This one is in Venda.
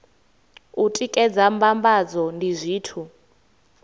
u tikedza mbambadzo ndi zwithu